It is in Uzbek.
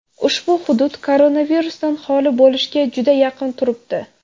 Ushbu hudud koronavirusdan xoli bo‘lishga juda yaqin turibdi.